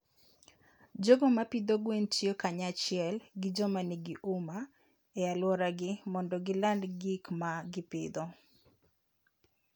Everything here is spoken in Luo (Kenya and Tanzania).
jogo ma pidho gwen tiyo kanyachiel gi joma nigi huma e alworagi mondo giland gik ma gipidho.